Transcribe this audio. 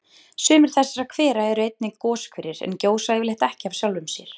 Sumir þessara hvera eru einnig goshverir en gjósa yfirleitt ekki af sjálfum sér.